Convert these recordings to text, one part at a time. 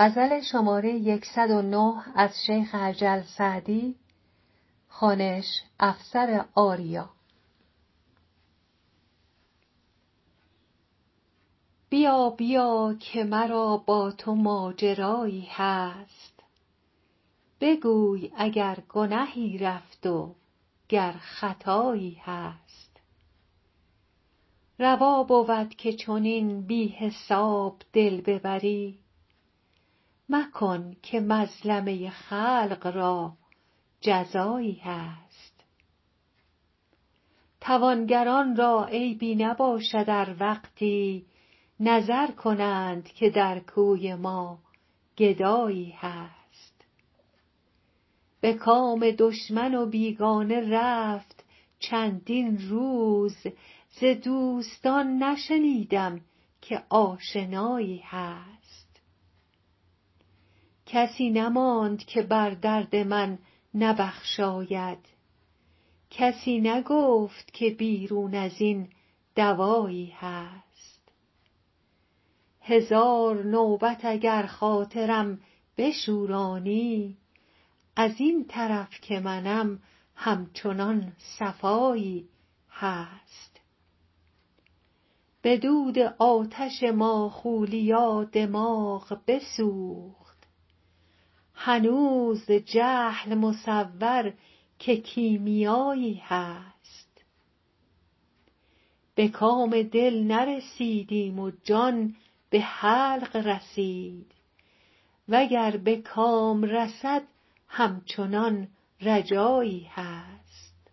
بیا بیا که مرا با تو ماجرایی هست بگوی اگر گنهی رفت و گر خطایی هست روا بود که چنین بی حساب دل ببری مکن که مظلمه خلق را جزایی هست توانگران را عیبی نباشد ار وقتی نظر کنند که در کوی ما گدایی هست به کام دشمن و بیگانه رفت چندین روز ز دوستان نشنیدم که آشنایی هست کسی نماند که بر درد من نبخشاید کسی نگفت که بیرون از این دوایی هست هزار نوبت اگر خاطرم بشورانی از این طرف که منم همچنان صفایی هست به دود آتش ماخولیا دماغ بسوخت هنوز جهل مصور که کیمیایی هست به کام دل نرسیدیم و جان به حلق رسید و گر به کام رسد همچنان رجایی هست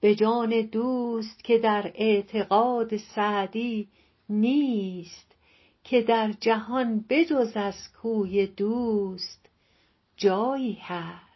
به جان دوست که در اعتقاد سعدی نیست که در جهان به جز از کوی دوست جایی هست